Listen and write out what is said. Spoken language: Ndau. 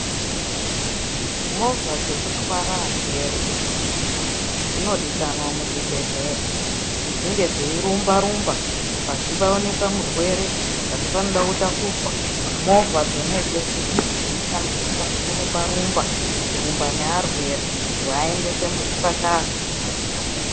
Movha dzekutwara arwere dzinodikanwa muzvibhehleya kuti dzinge dzeirumba rumba pazi paoneka murwere pazi panoda kutakurwa movha dzona idzodzo dzinoshandiswa kurumba nearwere kuaendese muzvipatara.